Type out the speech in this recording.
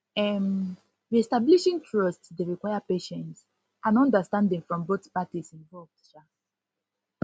um reestablishing trust dey require patience and understanding from both parties involved um